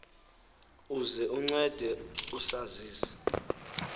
uze uncede usazise